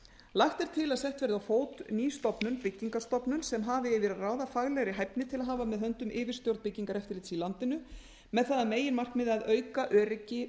lagt er til að sett verði á átt ný stofnun byggingarstofnun sem hafi yfir að ráða hæfni til að hafa með höndum yfirstjórn byggingareftirlits í landinu með það að meginmarkmiði að auka öryggi